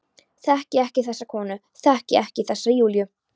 Þekki ekki þessa konu, þekki ekki þessa Júlíu.